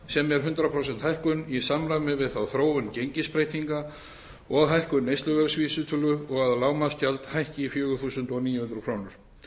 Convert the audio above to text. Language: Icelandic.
sem er hundrað prósent hækkun í samræmi við þróun gengisbreytinga og hækkun neysluverðsvísitölu og að lágmarksgjald hækki í fjögur þúsund níu hundruð krónur